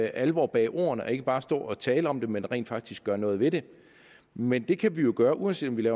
alvor bag ordene og ikke bare stå og tale om tingene men rent faktisk gøre noget ved dem men det kan vi jo gøre uanset om vi